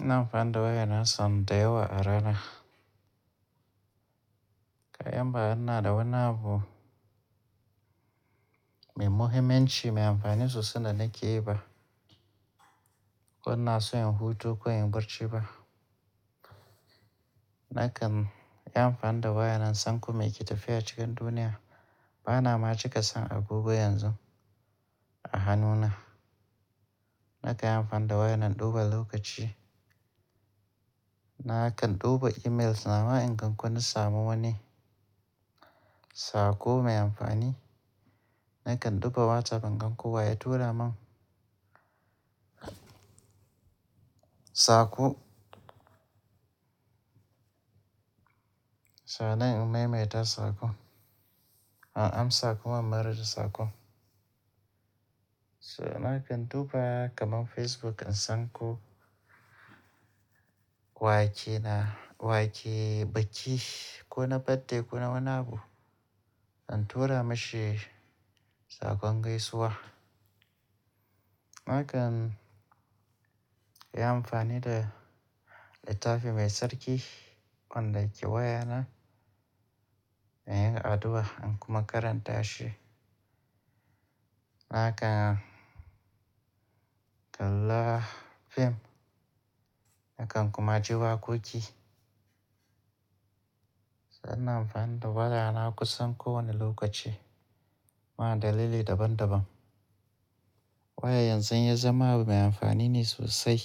Ina amfani da waya na son dayawa a rana. Ga yan ba ina da wani abu, mai muhimmanci mai amfani sosai da na ke yi ba. Ko ina so inyi hutu, ko inyi barci ba. Nakan yi amfani da waya na in san ko mai ke tafiya cikin duniya. Ba na ma cika san abubuwa yanzu, a hannuna. Nakan yi amfani da waya na, in duba lokaci. Nakan duba emails nawa in ga ko inna samu wani saƙo mai amfani. Nakan duba WhatsApp in gan ko waye tura min, saƙo. Sannan in maimaita saƙon, in amsa kuma marasa saƙon. So nakan duba kaman Facebook in san ko wa ke na, wa ke biki ko na birthday ko na wani abu. In tura mishi saƙon gaisuwa. Nakan yi amfani da littafi mai sark, wan da yake waya na, me yin addu'a in kuma karanta shi. Nakan, kalla fim. Nakan kuma ji waƙoƙi. Sannan in amfani da waya na kusan kowane lokaci ma dalilai daban daban. Waya yanzu ya zama abu mai amfani ne sosai.